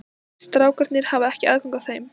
Strákarnir hafa ekki aðgang að þeim?